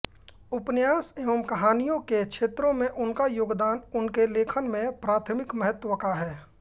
उपन्यास एवं कहानियों के क्षेत्र में उनका योगदान उनके लेखन में प्राथमिक महत्व का है